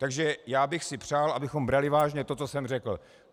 Takže já bych si přál, abychom brali vážně to, co jsem řekl.